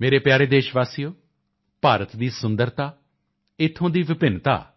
ਮੇਰੇ ਪਿਆਰੇ ਦੇਸ਼ਵਾਸੀਓ ਭਾਰਤ ਦੀ ਸੁੰਦਰਤਾ ਇੱਥੋਂ ਦੀ ਵਿਭਿੰਨਤਾ ਅਤੇ